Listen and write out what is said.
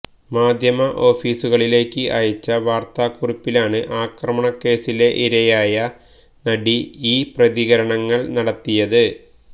മാധ്യമ ഓഫീസുകളിലേക്ക് അയച്ച വാര്ത്താക്കുറിപ്പിലാണ് ആക്രമണകേസിലെ ഇരയായ നടി ഈ പ്രതികരണങ്ങള് നടത്തിയത്